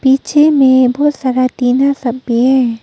नीचे में बहोत सारा टिंना सब भी है।